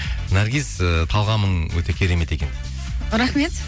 наргиз ыыы талғамың өте керемет екен дейді рахмет